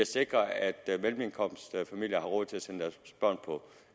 sikrer at mellemindkomstfamilier har råd til at sende deres børn på